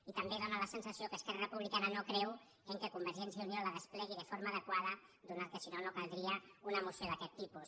i també dóna la sensació que esquerra republicana no creu que convergència i unió la desplegui de forma adequada ja que si no no caldria una moció d’aquest tipus